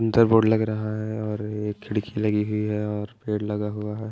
इधर बोर्ड लग रहा है और एक खिड़की लगी हुई है और पेड़ लगा हुआ है।